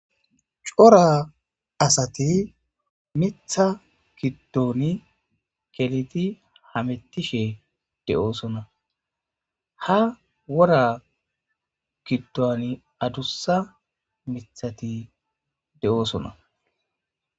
Cora asati mitha giddoni keliti hamettishe de7oosona ha wora giddoni adussa mithati de7oosona.